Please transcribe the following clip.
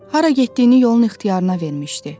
Hara getdiyini yolun ixtiyarına vermişdi.